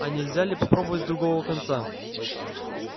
а нельзя ли попробовать с другого конца